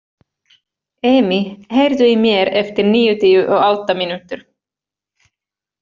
Emý, heyrðu í mér eftir níutíu og átta mínútur.